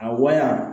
A wa